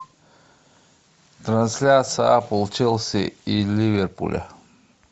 трансляция апл челси и ливерпуля